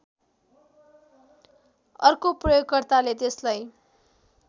अर्को प्रयोगकर्ताले त्यसलाई